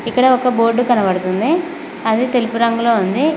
ఇక్కడ ఒక బోర్డు కనబడుతుంది అది తెలుపు రంగులో ఉంది.